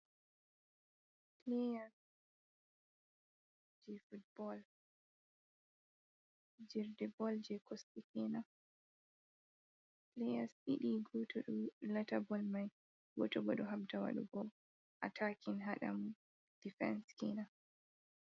Pileya jei futbol, fijirde bol jei kosɗe kenan, pileyas ɗiɗi go to ɗo lata bol mai, go to bo ɗo habda waɗugo atakin haɗa mo difense kenan.